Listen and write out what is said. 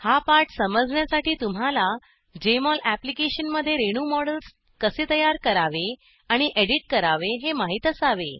हा पाठ समजण्यासाठी तुम्हाला जेएमओल अप्लिकेशनमध्ये रेणू मॉडेल्स कसे तयार करावे आणि एडिट करावे हे माहीत असावे